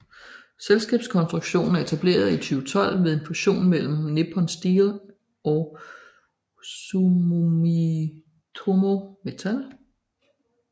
Selskabskonstruktionen er etableret i 2012 ved en fusion mellem Nippon Steel og Sumitomo Metal